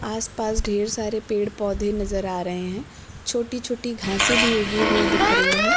आस पास ढ़ेर सारे पेड़ पौधे नजर आ रहे है छोटी छोटी घासें भी उगी हुई दिख रही है।